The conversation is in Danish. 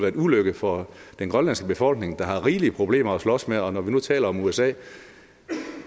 en ulykke for den grønlandske befolkning der har rigelige problemer at slås med at og når vi nu taler om usa vil